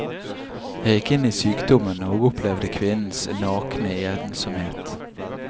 Jeg gikk inn i sykdommen og opplevde kvinnens nakne ensomhet.